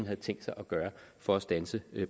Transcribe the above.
har tænkt sig at gøre for at standse